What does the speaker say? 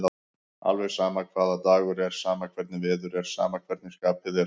Alveg sama hvaða dagur er, sama hvernig veður er, sama hvernig skapið er.